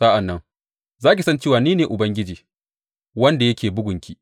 Sa’an nan za ki san cewa ni ne Ubangiji wanda yake bugunki.